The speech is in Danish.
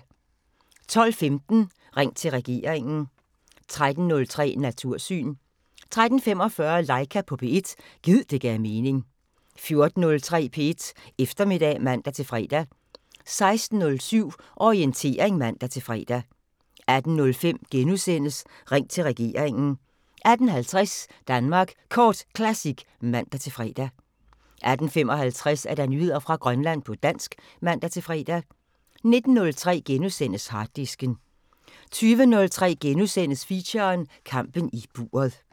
12:15: Ring til regeringen 13:03: Natursyn 13:45: Laika på P1 – gid det gav mening 14:03: P1 Eftermiddag (man-fre) 16:07: Orientering (man-fre) 18:05: Ring til regeringen * 18:50: Danmark Kort Classic (man-fre) 18:55: Nyheder fra Grønland på dansk (man-fre) 19:03: Harddisken * 20:03: Feature: Kampen i buret *